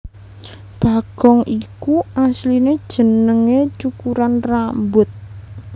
Bagong iku asliné jenengé cukuran rambut